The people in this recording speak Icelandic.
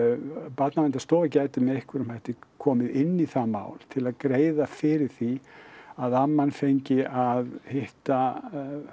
Barnaverndarstofa gæti með einhverjum hætti komið inn í það mál til að greiða fyrir því að amman fengi að hitta